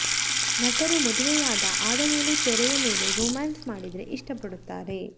ನಟರು ಮದುವೆಯಾದ ಆದ ಮೇಲೂ ತೆರೆಯ ಮೇಲೆ ರೋಮ್ಯಾನ್ಸ್ ಮಾಡಿದ್ರೆ ಇಷ್ಟ ಪಡುತ್ತಾರೆ